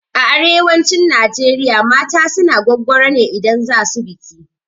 A arewacin Najeriya mata suna gwaggwaro ne idan za su biki.